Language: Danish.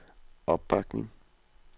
opbakning